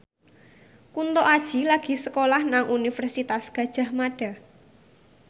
Kunto Aji lagi sekolah nang Universitas Gadjah Mada